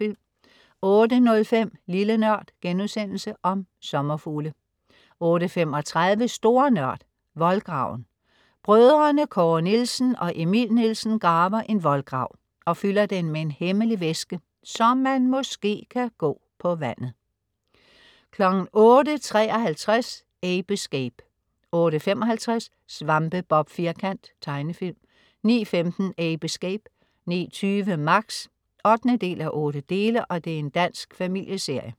08.05 Lille NØRD.* Om sommerfugle 08.35 Store Nørd. Voldgraven. Brødrene Kåre Nielsen og Emil Nielsen graver en voldgrav og fylder den med en hemmelig væske, så man, måske, kan gå på vandet! 08.53 Ape Escape 08.55 Svampebob Firkant. Tegnefilm 09.15 Ape Escape 09.20 Max 8:8. Dansk familieserie